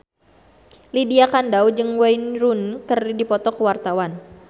Lydia Kandou jeung Wayne Rooney keur dipoto ku wartawan